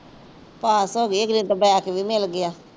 ਪਾਸ ਹੋ ਗਈ ਅਗਲੀ ਨੂੰ ਤਾਂ ਬੈਗ ਵੀ ਮਿਲ ਗਿਆ।